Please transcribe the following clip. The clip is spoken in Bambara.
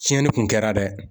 Tiɲɛni kun kɛra dɛ